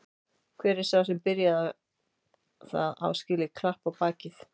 Hver sá sem byrjaði það á skilið klapp á bakið.